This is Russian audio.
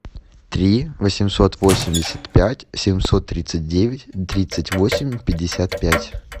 три восемьсот восемьдесят пять семьсот тридцать девять тридцать восемь пятьдесят пять